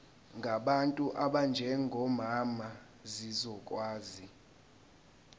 ngabantu abanjengomama zizokwazi